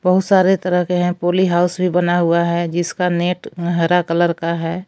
बहु सारे तरह के हैं पोली हाउस भी बना हुआ है जिसका नेट हरा कलर का है।